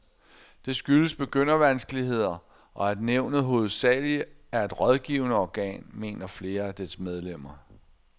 Det skyldes begyndervanskeligheder, og at nævnet hovedsageligt er et rådgivende organ, mener flere af dets medlemmer.